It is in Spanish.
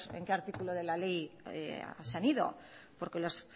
a qué artículo de la ley se han ido porque los